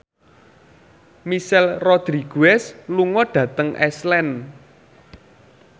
Michelle Rodriguez lunga dhateng Iceland